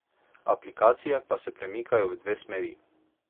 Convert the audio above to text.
Aplikacije pa se premikajo v dve smeri.